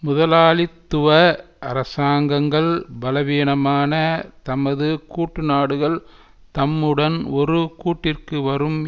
முதலாளித்துவ அரசாங்கங்கள் பலவீனமான தமது கூட்டுநாடுகள் தம்முடன் ஒரு கூட்டிற்கு வரும்